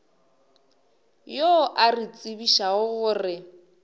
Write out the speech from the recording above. yo a re tsebišago gore